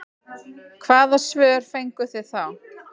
Hvaða svör fenguð þið þá?